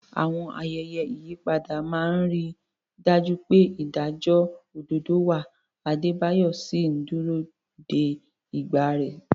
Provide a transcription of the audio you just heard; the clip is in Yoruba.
Àwọn ayẹyẹ ìyípadà máa ń rí i dájú pé ìdájọ́ òdodo wà, Adebayo sì ń dúró de ìgbà rẹ̀.